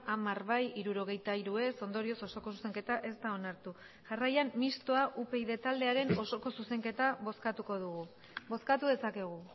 hamar bai hirurogeita hiru ez ondorioz osoko zuzenketa ez da onartu jarraian mistoa upyd taldearen osoko zuzenketa bozkatuko dugu bozkatu dezakegu